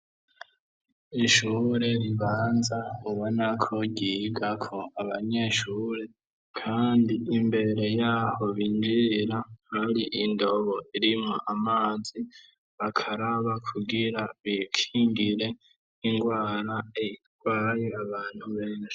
Ishure ribanza ubona ko ryiga ko abanyeshure, kandi imbere yaho bigira hari indobo irimwo, amazi bakaraba kugira bikingire ingwara erwaye abantu benshi.